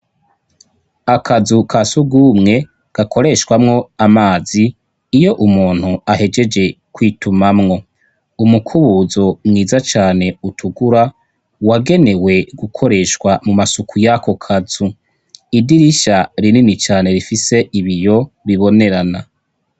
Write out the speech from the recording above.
Aka nzu kasugumwe gakoreshwamwo amazi iyo umuntu ahejeeje kwitumamwo umukubuzo mwiza cane utukura wagenewe gukoreshwa mu masuku y'ako kazu idirisha rinini cane rifise ibiyo bibonerana.